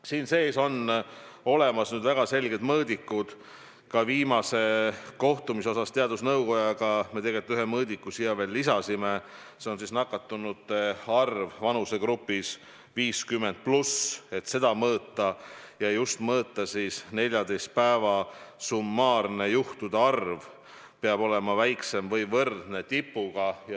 Siin sees on olemas väga selged mõõdikud, ka viimasel kohtumisel teadusnõukojaga me ühe mõõdiku siia veel lisasime, see on nakatunute arv vanusegrupis 50+, mida tuleb mõõta, ja mõõta just seda, et 14 päeva summaarne juhtude arv peab olema väiksem tipust või võrdne tipuga.